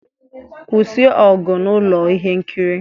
Kwụsị ọgụ na ụlọ ihe nkiri!